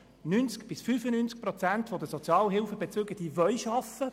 90 bis 95 Prozent der Sozialhilfebezüger wollen arbeiten.